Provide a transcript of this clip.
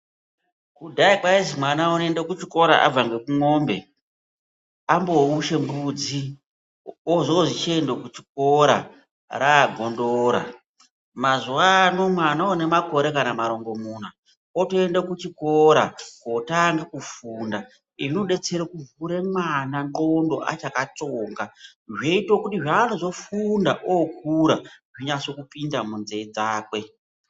Kudhaya kwaizi mwana unoende kuchikora abva ngekumwombe amboushe mbudzi ozozi chiende kuchikora ragondora, mazuwano mwana une makore kana marongomuna otoenda kuchikora kotange kufunda. Izvi zvinodetsere kuvhure mwana ndxondo achakatsonga zvoite kuti zvanozofunda okura zveinyase kupinda munzee dzakwe.